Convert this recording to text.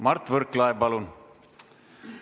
Mart Võrklaev, palun!